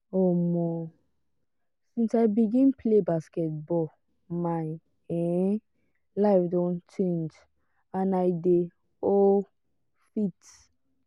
um since i begin play basketball my um life don change and i dey um fit.